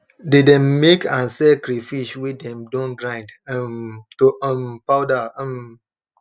they dem make and sell crayfish wey dem don grind um to um powder um